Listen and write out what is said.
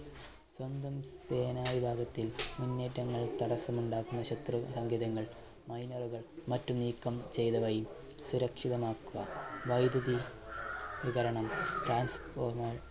സ്വന്തം സേന വിഭാഗത്തിൽ മുന്നേറ്റങ്ങൾ തടസ്സം ഉണ്ടാക്കുന്ന ശത്രുസങ്കേതങ്ങൾ miner കൾ മറ്റും നീക്കം ചെയ്തതായി സുരക്ഷിതമാക്കുക. വൈദ്യുതി വിതരണം transformer